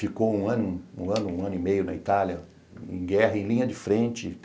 Ficou um ano, um ano um ano e meio na Itália, em guerra, em linha de frente.